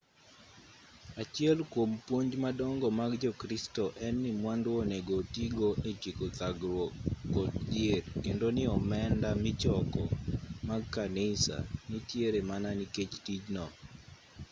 achiel kwom puonj madongo mag jo-kristo en ni mwandu onego oti go e tieko thagruok kod dhier kendo ni omenda michoko mag kanisa nitiere mana nikech tijno